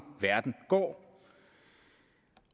verden går